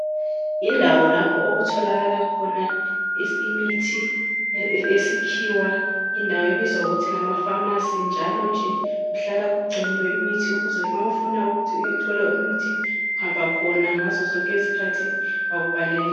Indawo lapho okutholakala khona imithi yesikhiwa indawo ebizwa ngokuthi ngama pharmacy njalo nje kuhlala kugciniwe imithi ukuze mawufuna ukuthi uthola imithi uhamba khona ngazo zonke izikhathi bakubhalele.